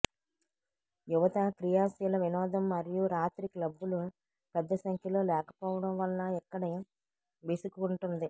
యువత క్రియాశీల వినోదం మరియు రాత్రి క్లబ్బులు పెద్ద సంఖ్యలో లేకపోవడం వలన ఇక్కడి విసుగు ఉంటుంది